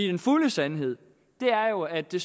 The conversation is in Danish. den fulde sandhed er jo at det